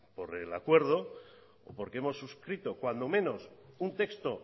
por el acuerdo o porque hemos suscrito cuando menos un texto